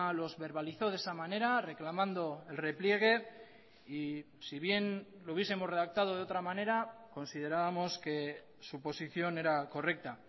los verbalizó de esa manera reclamando el repliegue y si bien lo hubiesemos redactado de otra manera considerábamos que su posición era correcta